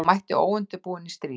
Hún mætti óundirbúin í stríð.